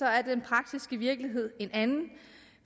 er den praktiske virkelighed en anden